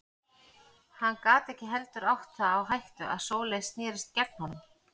Hann gat ekki heldur átt það á hættu að Sóley snerist gegn honum.